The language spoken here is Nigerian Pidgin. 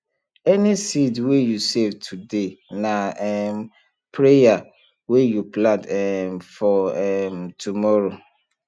any seed wey you save today na um prayer wey you plant um for um tomorrow